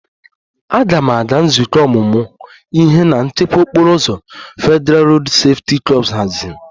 "Aga m aga nzukọ ọmụmụ ihe na ""nchekwa okporo ụzọ"" Federalụ Rodu Sefuti kor haziri"